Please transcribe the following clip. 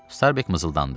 Starbek mızıldandı.